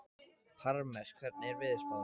Parmes, hvernig er veðurspáin?